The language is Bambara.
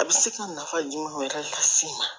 A bɛ se ka nafa jumɛn yɛrɛ las'i ma